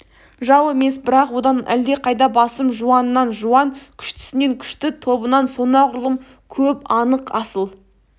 жау емес бірақ одан әлдеқайда басым жуанынан жуан күштісінен күшті тобынан сонағұрлым көп анық асыл